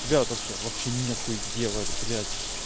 тебя вот вообще вообще нехуй делать блять